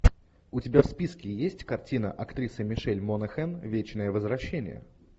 у тебя в списке есть картина актриса мишель монахэн вечное возвращение